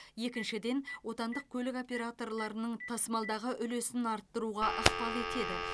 екіншіден отандық көлік операторларының тасымалдағы үлесін арттыруға ықпал етеді